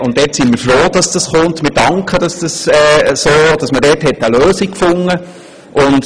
Deshalb sind wir froh, dass das kommt, und wir danken, dass man dafür eine Lösung gefunden hat.